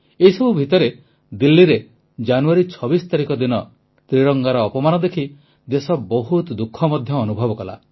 ଏଇସବୁ ଭିତରେ ଦିଲ୍ଲୀରେ ଜାନୁଆରୀ 26 ଦିନ ତ୍ରିରଙ୍ଗାର ଅପମାନ ଦେଖି ଦେଶ ବହୁତ ଦୁଃଖ ମଧ୍ୟ ଅନୁଭବ କଲା